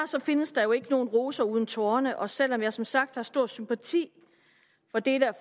findes der jo ikke nogen roser uden torne og selv om jeg som sagt har stor sympati for dele af